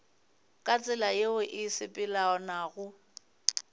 ka tsela yeo e sepelelanago